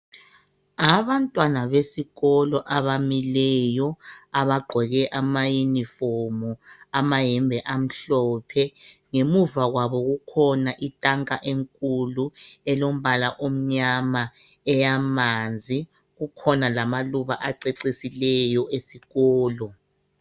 Abantwana besikolo abamileyo abagqoke ama yunifomu amayembe amhlophe ngemuva kwabo kukhona itanka enkulu elombala omnyama eyamanzi kukhona lama Luba acecisileyo esikolo.